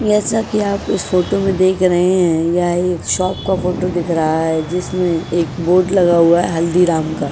जैसा की आप इस फोटो में देख रहे है यहा एक शॉप का फोटो दिख रहा है जिसमें एक बोर्ड लगा हुआ है हल्दीराम का।